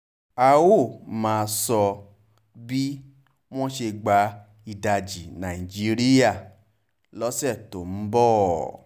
a óò máa sọ bí wọ́n ṣe gba ìdajì nàìjíríà lọ́sẹ̀ tó ń bọ̀